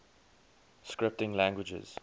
scripting languages